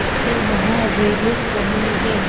उसके वहाँ रेलिंग बनी हैं।